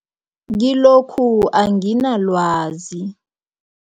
Kilokhu anginalwazi.